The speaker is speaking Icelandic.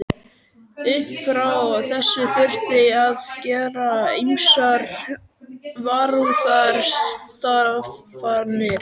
Upp frá þessu þurfti að gera ýmsar varúðarráðstafanir.